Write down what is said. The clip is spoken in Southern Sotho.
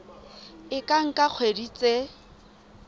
e ka nka dikgwedi tse